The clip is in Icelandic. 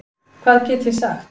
Hvað get ég sagt?